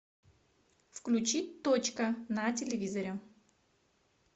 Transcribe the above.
включи точка на телевизоре